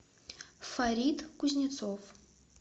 фарид кузнецов